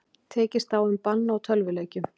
Tekist á um bann á tölvuleikjum